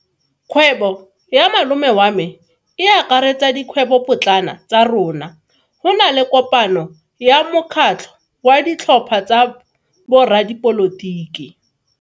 Kgwebo ya malome wa me e akaretsa dikgwebopotlana tsa rona. Go na le kopano ya mokgatlho wa ditlhopha tsa boradipolotiki.